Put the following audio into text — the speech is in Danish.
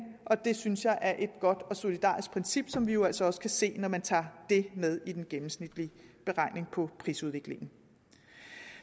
og det synes jeg er et godt og solidarisk princip som vi jo altså også kan se når man tager det med i den gennemsnitlige beregning på prisudviklingen